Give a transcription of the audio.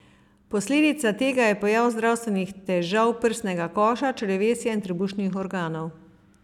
Posledica tega je pojav zdravstvenih težav prsnega koša, črevesja in trebušnih organov.